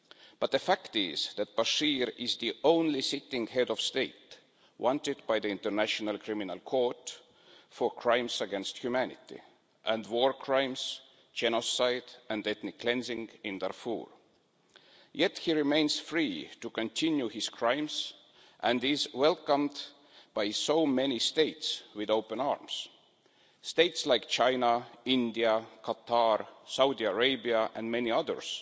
But the fact is that Bashir is the only sitting head of state wanted by the International Criminal Court for crimes against humanity and war crimes, genocide and ethnic cleansing in Darfur. Yet he remains free to continue his crimes, and he is welcomed by so many states with open arms states like China, India, Qatar, Saudi Arabia and many others